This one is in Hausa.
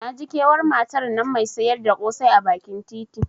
Naji kewar matan nan Mai siyar da kosai a bakin titi.